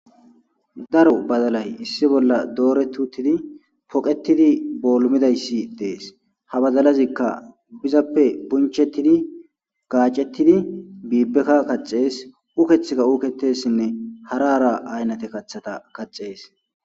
daro badalay issi bolla dooretutidi poqetidi boolmidayssi dees ha badalazikka phizappe bunchettidi gaacettidi biibbekka kaxees ukethika uketessinne harara aynnate kaththata kaxees